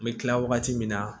N bɛ kila wagati min na